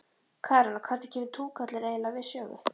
Karen: Og hvernig kemur túkallinn eiginlega við sögu?